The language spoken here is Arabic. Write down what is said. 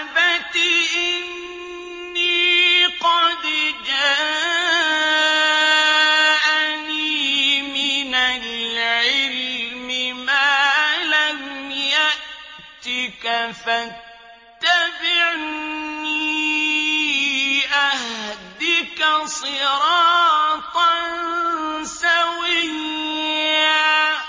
أَبَتِ إِنِّي قَدْ جَاءَنِي مِنَ الْعِلْمِ مَا لَمْ يَأْتِكَ فَاتَّبِعْنِي أَهْدِكَ صِرَاطًا سَوِيًّا